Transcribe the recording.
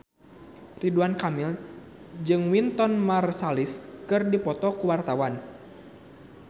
Ridwan Kamil jeung Wynton Marsalis keur dipoto ku wartawan